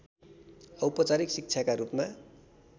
औपचारिक शिक्षाका रूपमा